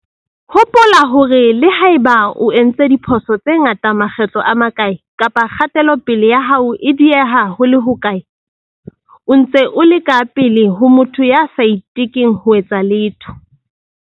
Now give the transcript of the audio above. Hopola hore le ha eba o entse diphoso tse ngata makgetlo a makae, kapa kgatelopele ya hao e dieha ho le hokae, o ntse o le ka pele ho motho ya sa itekeng ho etsa letho.